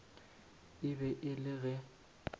e be e le ge